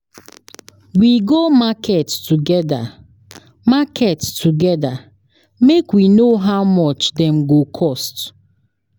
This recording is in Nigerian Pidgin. We go market togeda market togeda make we know how much dem go cost.